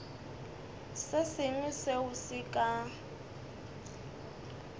se sengwe seo se ka